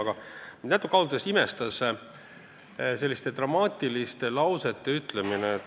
Aga mind pani ausalt öeldes natuke imestama selliste dramaatiliste lausete ütlemine.